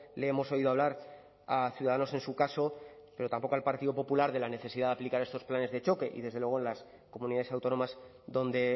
le hemos oído hablar a ciudadanos en su caso pero tampoco al partido popular de la necesidad de aplicar estos planes de choque y desde luego las comunidades autónomas donde